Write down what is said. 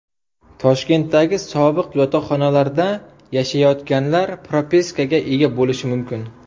Toshkentdagi sobiq yotoqxonalarda yashayotganlar propiskaga ega bo‘lishi mumkin.